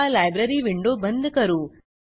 आता library window बंद करू